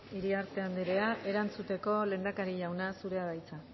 iriarte andrea erantzuteko lehendakari jauna zurea da hitza